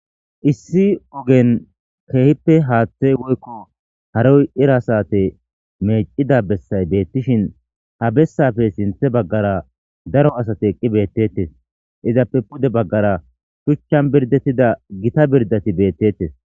issi ogen keehippe haaththey woykko haroy ira sate meecida bessay beettishin ha bessafe sinthe baggara daro asate eqqi beettettes izappe pude baggara shuchchan birdettida gita birdati beettettes